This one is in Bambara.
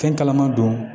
Fɛn kalaman dɔn